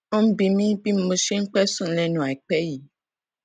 ó ń bi mí bí mo ṣe ń pẹ sùn lénu àìpé yìí